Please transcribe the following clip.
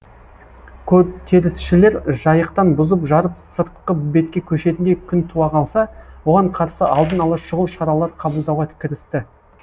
көтерілісшілер жайықтан бұзып жарып сыртқы бетке көшетіндей күн туа қалса оған қарсы алдын ала шұғыл шаралар қабылдауға кірісті